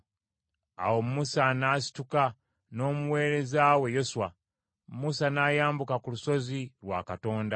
Awo Musa n’asituka n’omuweereza we Yoswa; Musa n’ayambuka ku lusozi lwa Katonda.